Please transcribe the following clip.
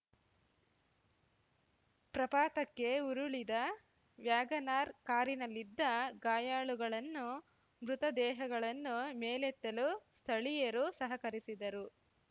ಪ್ರಪಾತಕ್ಕೆ ಉರುಳಿದ ವ್ಯಾಗನಾರ್ ಕಾರಿನಲ್ಲಿದ್ದ ಗಾಯಾಳುಗಳನ್ನು ಮೃತ ದೇಹಗಳನ್ನು ಮೇಲೆತ್ತಲು ಸ್ಥಳೀಯರು ಸಹಕರಿಸಿದರು